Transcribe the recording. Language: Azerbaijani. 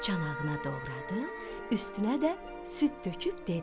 Canağına doğradı, üstünə də süd töküb dedi: